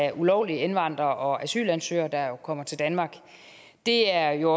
af ulovlige indvandrere og asylansøgere der kommer til danmark det er jo